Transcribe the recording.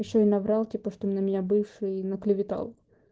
ещё и наврал типа что на меня бывший на клеветал